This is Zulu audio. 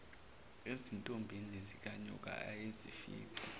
ezintombini zikanyoka ayezifica